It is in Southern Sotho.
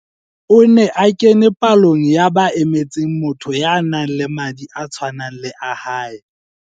O ne a kene palong ya ba emetseng motho ya nang le madi a tshwanang le a hae.